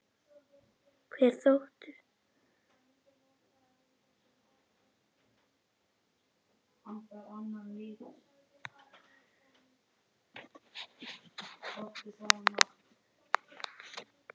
Hver þóttist ég vera?